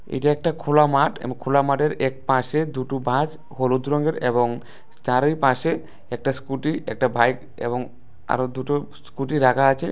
এটা একটা খোলা মাঠ এবং খোলা মাঠের এক পাশে দুটো বাস হলুদ রঙের এবং চারি পাশে একটা স্কুটি একটা বাইক এবং আরো দুটো স্কুটি রাখা আছে।